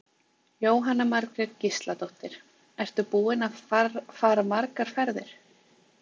Jóhanna Margrét Gísladóttir: Ertu búinn að fara margar ferðir?